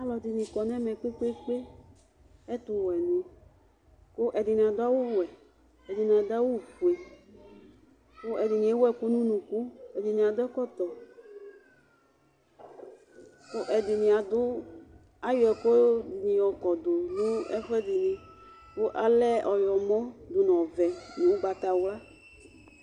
Aalʋɛɖini akɔ nɛmɛ kpekpeke ɛtʋwuɛni kʋ ɛɖini aɖʋ awu wuɛ ɛɖini aɖʋa awu fue kʋ ɛɖini ewu ɛkʋ n'ʋnukʋ ɛɖini adʋ ɛkɔtɔ, kʋ ɛɖini aɖʋayɔ ɛkʋɖini yɔkɔɖʋ nʋ ɛkʋɛɖini kʋ ɔlɛ ɔyɔmɔ nʋ ɔvɛ, nʋ ʋgbatawlua